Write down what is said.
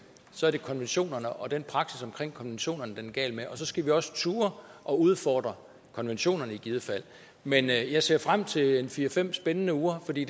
så er det konventionerne og den praksis omkring konventionerne den er gal med og så skal vi også turde at udfordre konventionerne i givet fald men jeg jeg ser frem til en fire fem spændende uger for det